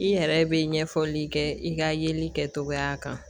I yɛrɛ bɛ ɲɛfɔli kɛ i ka yeli kɛcogoya kan